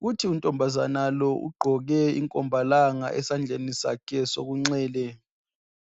.Futhi untombazana lo ugqoke inkombalanga esandleni sakhe sokunxele .